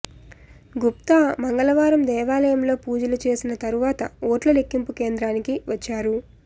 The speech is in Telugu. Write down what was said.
గుప్తా మంగళవారం దేవాలయంలో పూజలు చేసిన తర్వాత ఓట్ల లెక్కింపు కేంద్రానికి వచ్చారు